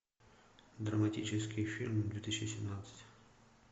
драматические фильмы две тысячи семнадцать